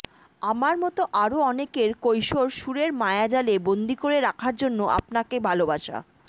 আমার মতো আরো অনেকের কৈশোর সুরের মায়াজালে বন্দী করে রাখার জন্য আপনাকে ভালোবাসা